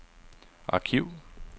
arkiv